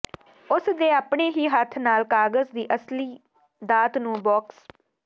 ਉਸ ਦੇ ਆਪਣੇ ਹੀ ਹੱਥ ਨਾਲ ਕਾਗਜ਼ ਦੀ ਅਸਲੀ ਦਾਤ ਨੂੰ ਬਾਕਸ